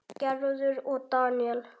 Gerður og Daníel.